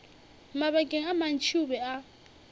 mabakeng a mantši o be